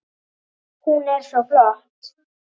Hún er svo flott!